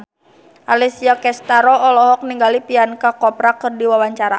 Alessia Cestaro olohok ningali Priyanka Chopra keur diwawancara